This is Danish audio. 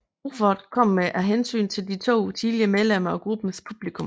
Bruford kom med af hensyn til de to tidligere medlemmer og gruppens publikum